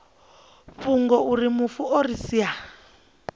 fhungo auri mufu o sia